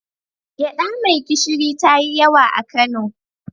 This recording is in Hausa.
Gyaɗa mai gishiri ta yi yawa a Kano.